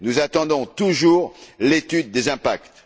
Nous attendons toujours l'étude des impacts.